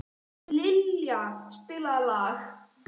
Liljan, spilaðu lag.